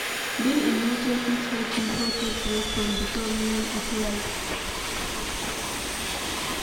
Being in nature fit help pipo take break from di problem of life